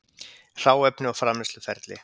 Hráefni og framleiðsluferli